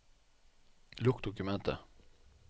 Lukk dokumentet